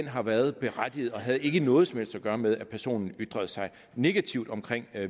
har været berettiget og ikke havde noget som helst at gøre med at personen ytrede sig negativt om